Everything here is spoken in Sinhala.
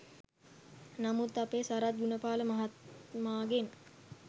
නමුත් අපේ සරත් ගුණපාල මහත්මාගෙන්